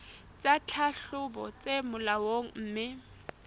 tsa tlhahlobo tse molaong mme